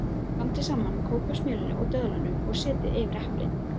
Blandið saman kókosmjölinu og döðlunum og setjið yfir eplin.